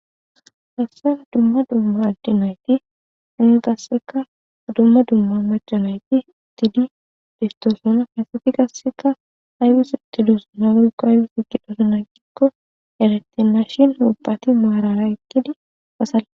Hayssan dumma dumma adde naythi iin qasseka dumma dumma macca naythi uththidi beeththoosona; asathi qasseka aybis uththidozona woykko aybis uththidona giikko erethenna shin ubbathi maaraara eqqidi ba salpp...